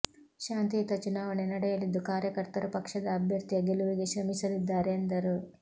ಶಾಂತಿಯುತ ಚುನಾವಣೆ ನಡೆಯಲಿದ್ದು ಕಾರ್ಯಕರ್ತರು ಪಕ್ಷದ ಅಭ್ಯರ್ಥಿಯ ಗೆಲುವಿಗೆ ಶ್ರಮಿಸಲಿದ್ದಾರೆ ಎಂದರು